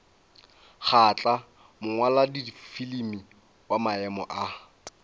kgahla mongwaladifilimi wa maemo a